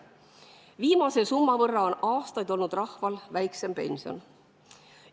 Viimase summa võrra on rahva pensionid aastaid väiksemad olnud.